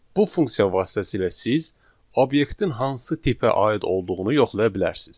Bu funksiya vasitəsilə siz obyektin hansı tipə aid olduğunu yoxlaya bilərsiz.